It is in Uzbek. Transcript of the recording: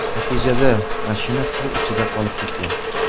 Natijada mashina suv ichida qolib ketgan.